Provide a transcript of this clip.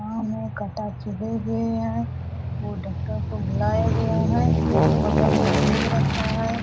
पाँव में कांटा चुभे हुए हैं वो डॉक्टर को बुलाया गया है बगल में बैग रखा है।